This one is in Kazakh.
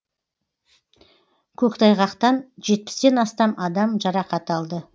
көктайғақтан жетпістен астам адам жарақат алды